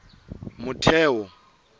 motheo